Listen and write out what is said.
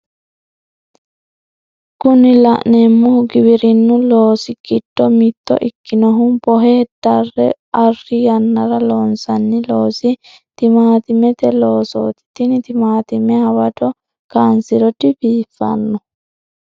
Kuni la'neemohu giwirinnu loosi giddo mitto ikkinohu bohe darre arri yannara loonsanni loosi timaatimete loosooti tini timaatime hawado kaansiro dibiifanno.